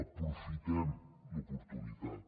aprofitem l’oportunitat